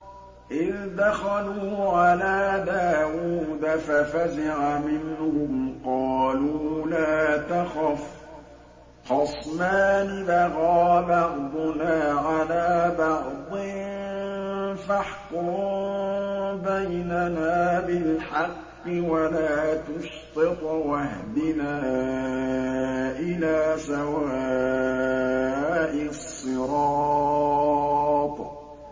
إِذْ دَخَلُوا عَلَىٰ دَاوُودَ فَفَزِعَ مِنْهُمْ ۖ قَالُوا لَا تَخَفْ ۖ خَصْمَانِ بَغَىٰ بَعْضُنَا عَلَىٰ بَعْضٍ فَاحْكُم بَيْنَنَا بِالْحَقِّ وَلَا تُشْطِطْ وَاهْدِنَا إِلَىٰ سَوَاءِ الصِّرَاطِ